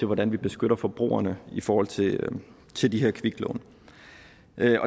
hvordan vi beskytter forbrugerne i forhold til til de her kviklån